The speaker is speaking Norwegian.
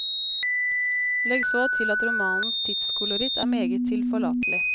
Legg så til at romanens tidskoloritt er meget tilforlatelig.